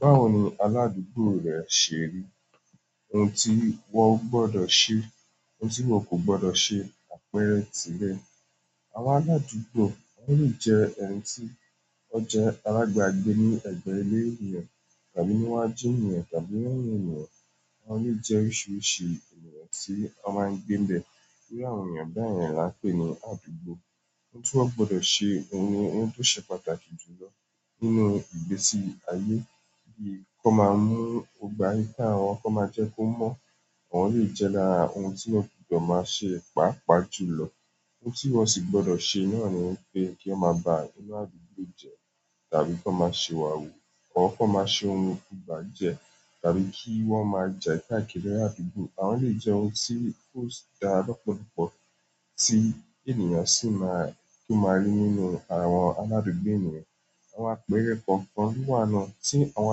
Ba wo ni aladugbo re se ri? Ohun tí wọn gbọdọ̀ ṣe, ohun tí wọn o gbọdọ̀ ṣe, àpẹẹrẹ tì rẹ. Àwọn aradugbo le je ẹni ti o je alabagbeni ni egbe ile ènìyàn tàbí níwájú ènìyàn tàbí lẹ́yìn ènìyàn. Wọn lè jẹ́ oríṣiríṣi ènìyàn tí wọ́n máa ń gbé ibẹ̀. Iru àwọn eeyan beyen ni a n pe ni aradugbo. Ohun tí wọ́n gbọdọ̀ ṣe ni ohun tó ṣe pàtàkì jùlọ nínú ìgbésí ayé bí kọ́ máa mú ìgbà ẹ ká wọn, kó máa jẹ́ kó mọ́. Oun le je nkan ti won maa ma se paapaa jùlọ ohun tí wọ́n sì gbọdọ̀ ṣe náà ni pé kí wọ́n máa ba inú àdúgbò jẹ tàbí kí wọ́n máa ṣi ìwà wú. Ọ́r kó máa ṣe ohun ibajẹ tàbí kí wọ́n máa jẹ ka káàkiri àdúgbò. Àwọn lè jẹ́ ohun tí ó si dá lọ́pọ̀lọ́pọ̀ tí ènìyàn sì máa kí ó máa rí nínú àwọn aládùúgbò ènìyàn. Àwọn àpẹẹrẹ kọ̀ọ̀kan ló wà náà tí àwọn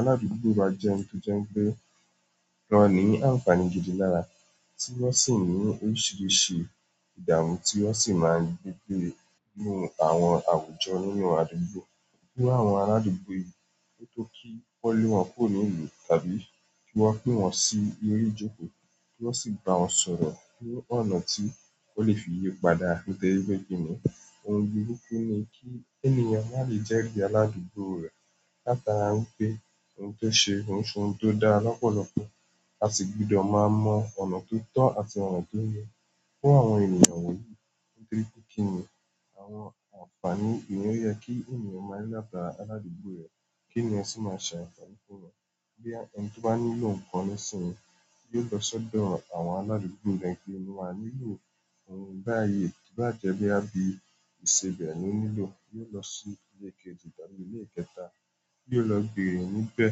aládùúgbò báa jẹ́ ń ẹni to je wípé, wọ́n ní àǹfààní gidi lára tí wọ́n sì ní oríṣiríṣi ìdààmú tí wọ́n sì máa ń gbé ní àwọn àwùjọ nínú àdúgbò. Bí àwọn aládùúgbò yìí tó kí wọ́n lé wọn kúrò nílùú tàbí kí wọ́n pín wọn sí orí ìjókòó kí wọ́n sì ba wọn sọ̀rọ̀ pín ọ̀nà tí wọ́n lè fi yípadà nítorí pé kí ni? Ohun burúkú ni kí ènìyàn má lè jẹ́rí aládùúgbò rẹ̀. Lá'tara wipé ohun tó ṣe ohun ṣe oun tó dá lọ́pọ̀lọ́pọ̀, a sì gbudọ̀ máa mọ ọ̀nà tó tọ́ àti ọ̀nà tó yẹ fún àwọn ènìyàn wọ̀nyí. Nítorí pé kí ni àwọn àǹfààní ìyẹ́n kí ènìyàn má lè lágbára aládùúgbò rẹ̀ kí ènìyàn sì máa ṣàǹfààní fún wọn. Bí ẹni tí ó bá nílò nǹkan nísinsìnyí yóò lọ sọ́dọ̀ àwọn aládùúgbò ńpẹ́ kí ènìyàn wá nílò ohun bá yi. Bá jẹ́ bí a bi ìṣebẹ̀ ni ó nílò, yóò lọ sí ilé kejì tàbí ilé kẹta, yóò lọ bèrè níbẹ̀.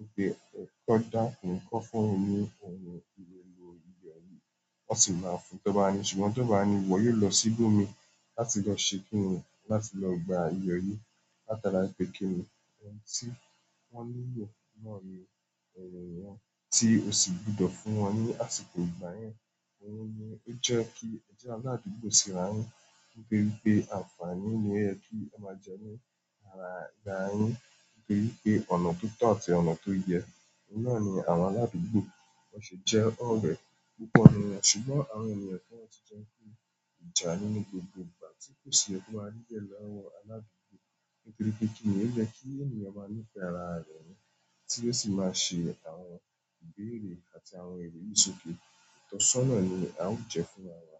Wípé ki won dákun, kí won fún ohun elo, ìyọ ní, wọ́n sì máa fún ti won ba ni ṣùgbọ́n tí won ba ni iwọ́ yóò lọ síbò mi láti lọ ṣe kíni, láti lọ gba iyọ̀ yìí látara ìgbẹ́kẹ̀lé. Ohun tí wọ́n nílò náà ni ẹrù wọn tí ó sì gbọdọ̀ fún wọn ní àsìkò ìgbà yẹn. Ohun yìí jẹ́ kí ẹ jẹ́ aládùúgbò síra yín. Nítorí pé àǹfààní ni e tun máa jẹ ní ara ìgbà yín. Nítorí pé ọ̀nà tó tọ́ àti ọ̀nà tó yẹ. Nígbà náà ni àwọn aládùúgbò wọ́n sì jẹ́ ọ̀rẹ́ púpọ̀ nínú won. Ṣùgbọ́n àwọn ènìyàn kọ̀ọ̀tú jẹ́ kó jà nínú gbogbo gbà tí kò sì ọkùnrin rí lẹ́nu àwọn aládùúgbò. Toripe kini? Oye ki àwọn ènìyàn ma ni fe àwọn eeyan ti o si ma o si ma gbe àwọn elomiiran sókè. Ìtọ́sọ́nà ni à o je fún ara wa.